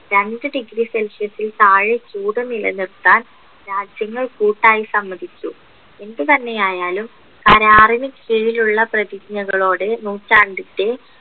രണ്ട് degree celsius ൽ താഴെ ചൂട് നിലനിർത്താൻ രാജ്യങ്ങൾ കൂട്ടായി സമ്മതിച്ചു എന്തുതന്നെയായാലും അനാറിന് കീഴിലുള്ള പ്രതിജ്ഞകളോട് നൂറ്റാണ്ടിൻ്റെ